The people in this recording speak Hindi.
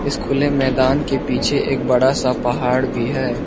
इस खुले मैदान के पीछे एक बड़ा सा पहाड़ भी है।